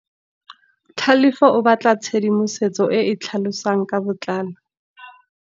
Tlhalefô o batla tshedimosetsô e e tlhalosang ka botlalô.